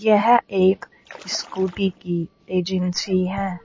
यह एक स्कूटी की एजेंसी है।